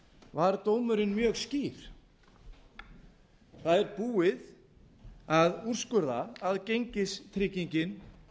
var dómurinn mjög skýr það búið að úrskurða að gengistryggingin